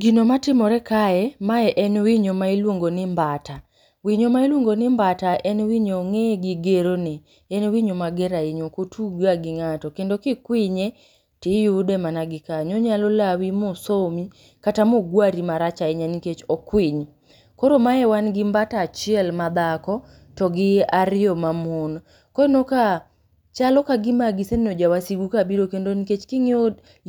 Gino matimore kae mae en winyo ma iluongo ni mbata. Winyo ma iluongo ni mbata en winyo ong'eye gi gero ne, en winyo mager ahinya ok otug ga gi ng'ato kendo kikwinye to iyude mana gi kanyo. Onyalo lawi ma osomi kata ma ogwari marach ahinya nikech okwiny. Koro mae wan gi mbata achiel ma dhako to gi ariyo mamon. Koro ineno ka chal ka gima giseneno ja wasigu ka biro kendo nikech ka ing'iyo